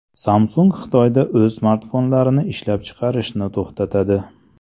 Samsung Xitoyda o‘z smartfonlarini ishlab chiqarishni to‘xtatadi.